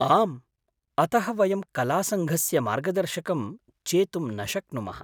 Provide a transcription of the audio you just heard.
आम्, अतः वयं तु कलासङ्घस्य मर्गदर्शकं चेतुं न शक्नुमः।